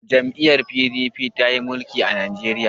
jam'iyyar P.D.P ta yi mulikin Najeriya